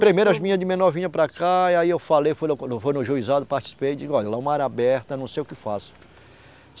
Primeiro as menina de menor vinha para cá e aí eu falei, foi logo como, vou no juizado, participei, digo lá é uma área aberta, não sei o que faço.